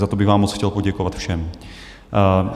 Za to bych vám moc chtěl poděkovat všem.